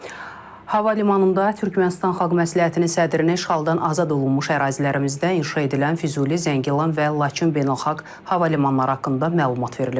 Hava limanında Türkmənistan xalq məsləhətinin sədrinə işğaldan azad olunmuş ərazilərimizdə inşa edilən Füzuli, Zəngilan və Laçın beynəlxalq hava limanları haqqında məlumat verilib.